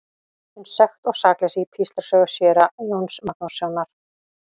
Um sekt og sakleysi í Píslarsögu síra Jóns Magnússonar.